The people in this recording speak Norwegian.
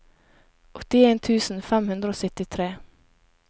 åttien tusen fem hundre og syttitre